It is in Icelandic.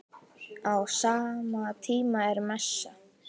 Á sama tíma er messa.